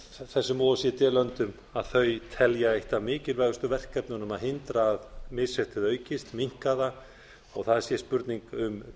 o e c d löndum að þau telja eitt af mikilvægustu verkefnunum að hindra að misréttið aukist minnka það og það sé hreinlega spurning um